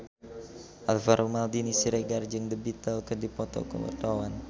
Alvaro Maldini Siregar jeung The Beatles keur dipoto ku wartawan